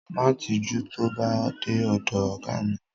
Má tijú tó bá dé ọ̀dọ ọ̀gá mi.